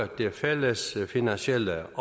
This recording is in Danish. det fælles finansielle